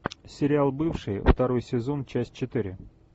сериал бывшие второй сезон часть четыре